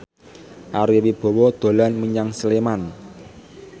Ari Wibowo dolan menyang Sleman